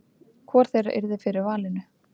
Hvor þeirra yrði fyrir valinu?